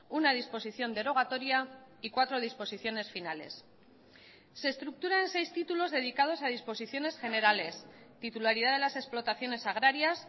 una disposición derogatoria y cuatro disposiciones finales se estructura en seis títulos dedicados a disposiciones generales titularidad de las explotaciones agrarias